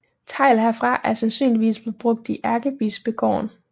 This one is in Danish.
Tegl herfra er sandsynligvis blevet brugt i Ærkebispegården